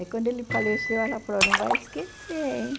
Aí quando ele faleceu, ela falou, não vai esquecer, hein?